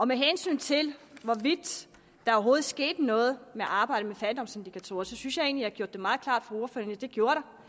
med hensyn til hvorvidt der overhovedet skete noget med arbejdet med fattigdomsindikatorer synes jeg egentlig har gjort det meget klart for ordføreren at det gjorde der